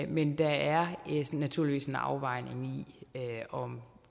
men der er naturligvis en afvejning af